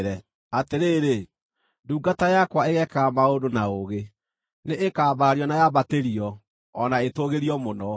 Atĩrĩrĩ, ndungata yakwa ĩgeekaga maũndũ na ũũgĩ; nĩĩkambarario na yambatĩrio, o na ĩtũũgĩrio mũno.